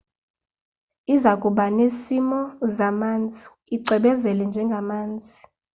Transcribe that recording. izakuba nesimo zamanzi icwebezela njengamazi